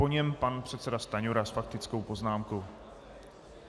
Po něm pan předseda Stanjura s faktickou poznámkou.